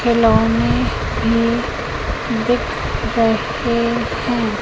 खिलौने भी दिख रहे हैं।